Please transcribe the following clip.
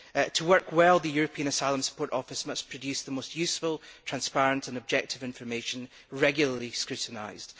To work well, the European Asylum Support Office must produce the most useful, transparent and objective information, regularly scrutinised.